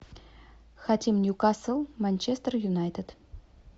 хотим ньюкасл манчестер юнайтед